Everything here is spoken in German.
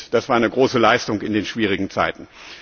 Das war eine große Leistung in den schwierigen Zeiten.